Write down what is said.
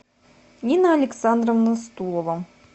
нина александровна стулова